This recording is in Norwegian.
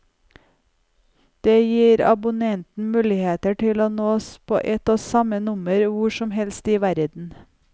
Det gir abonnenten muligheten til å nås på ett og samme nummer hvor som helst i verden.